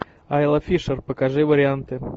айла фишер покажи варианты